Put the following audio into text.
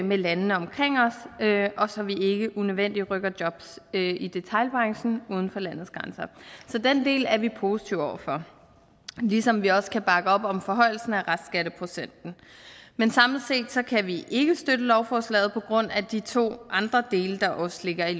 med landene omkring os og så vi ikke unødvendigt rykker jobs i detailbranchen uden for landets grænser så den del er vi positive over for ligesom vi også kan bakke op om forhøjelsen af restskatteprocenten men samlet set kan vi ikke støtte lovforslaget på grund af de to andre dele der også ligger i